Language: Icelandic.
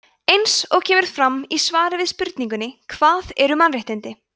eins og kemur fram í svari við spurningunni hvað eru mannréttindi